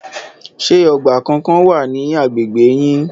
Ṣé ọgbà kankan wà ní agbègbè yín?